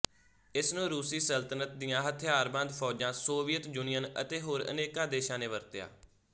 ਇਸਨੂੰ ਰੂਸੀ ਸਲਤਨਤ ਦੀਆਂ ਹਥਿਆਰਬੰਦ ਫ਼ੌਜਾਂ ਸੋਵੀਅਤ ਯੂਨੀਅਨ ਅਤੇ ਹੋਰ ਅਨੇਕਾਂ ਦੇਸ਼ਾਂ ਨੇ ਵਰਤਿਆ